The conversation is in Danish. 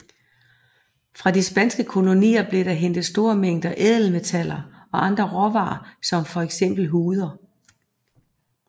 Fra de spanske kolonier blev der hentet store mængder ædelmetaller og andre råvarer som for eksempel huder